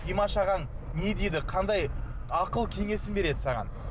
димаш ағаң не дейді қандай ақыл кеңесін береді саған